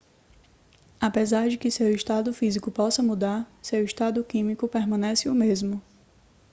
apesar de que seu estado físico possa mudar seu estado químico permanece o mesmo